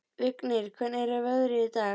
Vignir, hvernig er veðrið í dag?